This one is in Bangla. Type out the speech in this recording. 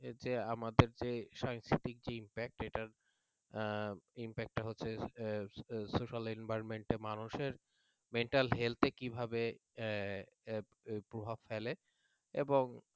আমাদের সাংস্কৃতিক যে impact এটার impact হচ্ছে social environment মানুষের mental health এ কিভাবে প্রভাব ফেলে